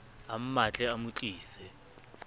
a mmatle a mo tlise